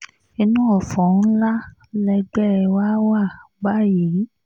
inú ọ̀fọ̀ ńlá lẹgbẹ́ wa wà báyìí